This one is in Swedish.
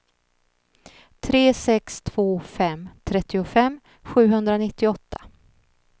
tre sex två fem trettiofem sjuhundranittioåtta